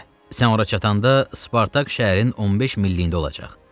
Sən ora çatanda Spartak şəhərin 15 milliyində olacaq.